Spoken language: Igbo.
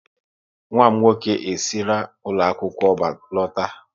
Nwa m nwoke e sira ụlọ akwụkwọ lọta